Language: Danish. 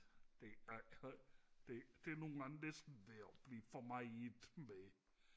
det ej det er nogen gange næsten ved at blive for meget med